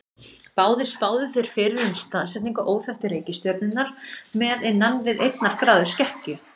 Báðir spáðu þeir fyrir um staðsetningu óþekktu reikistjörnunnar með innan við einnar gráðu skekkju.